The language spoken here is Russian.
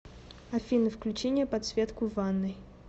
афина включи мне подсветку в ванной